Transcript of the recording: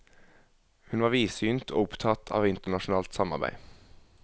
Hun var vidsynt og opptatt av internasjonalt samarbeid.